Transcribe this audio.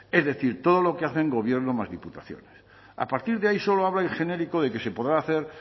es decir todo lo que hacen gobierno más diputaciones a partir de ahí solo habla en genérico de que se podrá hacer